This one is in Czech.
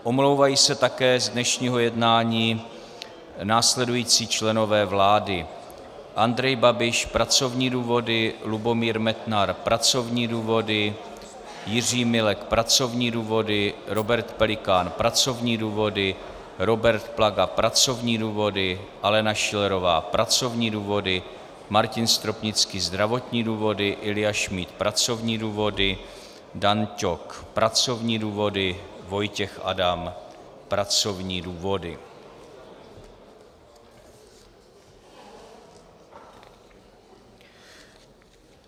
Omlouvají se také z dnešního jednání následující členové vlády: Andrej Babiš - pracovní důvody, Lubomír Metnar - pracovní důvody, Jiří Milek - pracovní důvody, Robert Pelikán - pracovní důvody, Robert Plaga - pracovní důvody, Alena Schillerová - pracovní důvody, Martin Stropnický - zdravotní důvody, Ilja Šmíd - pracovní důvody, Dan Ťok - pracovní důvody, Vojtěch Adam - pracovní důvody.